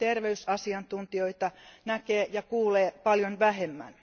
Terveysasiantuntijoita näkee ja kuulee paljon vähemmän.